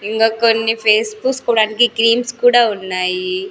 ఇంగా కొన్ని ఫేస్ పూసుకోవడానికి క్లీమ్స్ కుడా ఉన్నాయి.